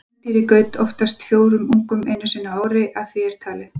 Kvendýrið gaut oftast fjórum ungum einu sinni á ári að því er talið er.